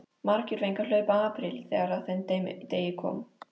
Margir fengu að hlaupa apríl þegar að þeim degi kom.